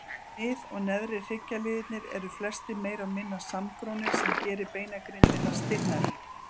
Mið- og neðri hryggjarliðirnir eru flestir meira og minna samgrónir sem gerir beinagrindina stinnari.